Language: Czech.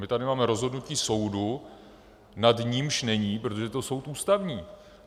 My tady máme rozhodnutí soudu, nad něž není, protože to je soud Ústavní.